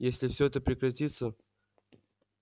если всё это прекратится